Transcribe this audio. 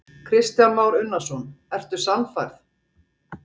Kristján Már Unnarsson: Ertu sannfærð?